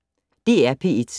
DR P1